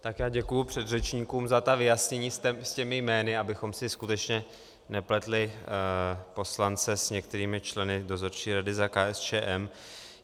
Tak já děkuji předřečníkům za ta vyjasnění s těmi jmény, abychom si skutečně nepletli poslance s některými členy dozorčí rady za KSČM.